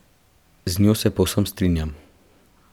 Z njo se povsem strinjam.